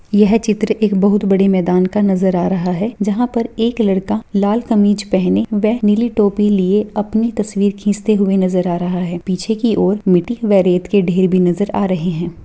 यह चित्र एक बहुत बड़े मैदान का नज़र आ रहा है जहां पर एक लड़का लाल कमीज पहने वह नीले टोपी लिए अपनी तस्वीर खींचते हुए नजर आ रहा है पीछे की और मिट्टी वा रेत के ढेर भी नजर आ रहे है।